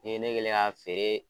N'i ye kɛlen ye k'a feere.